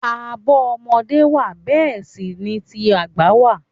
Àbọ̀ ọmọdé wà bẹẹ sì ni ti àgbà wà.